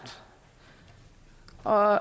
og